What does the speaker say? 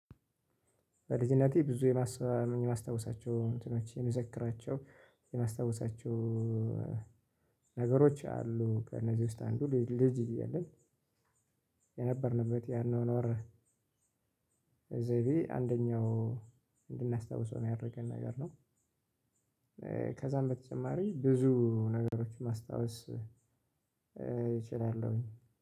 በልጅነቴ ብዙ የማስታውሳቸው እንትኖች የምዘክራቸው የማስታውሳቸው ነገሮች አሉ ከእነዚህ ውስጥ አንዱ ልጅ እያለን የነበርንበት ያኗኗር ዘይቤ አንደኛው እንድናስታውሰው ነው ያደረገን ነገር ነው ከዚያም በተጨማሪ ብዙ ነገሮች ማስታወስ እችላለሁኝ።